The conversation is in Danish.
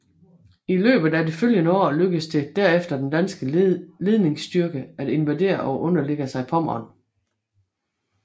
I løbet af det følgende år lykkedes det derefter den danske ledingsstyrke at invadere og underlægge sig Pommern